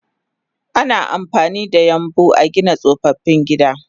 Ana amfanida yambu agina tsofaffin gida